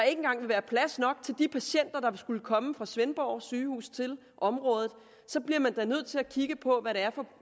engang vil være plads nok til de patienter der vil skulle komme fra svendborg sygehus til området så bliver man da nødt til at kigge på hvad det er for